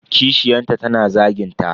Kishiyanta tana zagin ta.